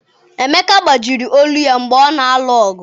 Emeka gbajiri olu ya mgbe ọ na-alụ ọgụ.